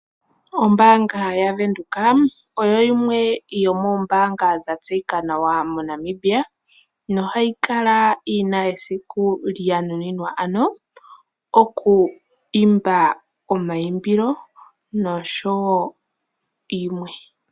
Ombaanga yavenduka oyo yimwe yoomoombanga dha tseyika nawa moNamibia, nohayi kala yina esiku ano lyanuninwa okwiimba omayimbilo, noshowo yilwe.